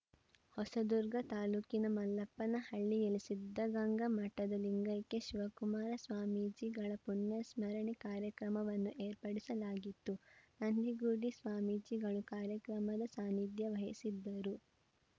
ಹೊಸದುರ್ಗ ತಾಲೂಕಿನ ಮಲ್ಲಪ್ಪನಹಳ್ಳಿಯಲ್ಲಿ ಸಿದ್ಧಗಂಗಾ ಮಠದ ಲಿಂಗೈಕ್ಯ ಶಿವಕುಮಾರ ಸ್ವಾಮೀಜಿಗಳ ಪುಣ್ಯಸ್ಮರಣೆ ಕಾರ್ಯಕ್ರಮವನ್ನು ಏರ್ಪಡಿಸಲಾಗಿತ್ತು ನಂದಿಗುಡಿ ಸ್ವಾಮೀಜಿಗಳು ಕಾರ್ಯಕ್ರಮದ ಸಾನಿಧ್ಯ ವಹಿಸಿದ್ದರು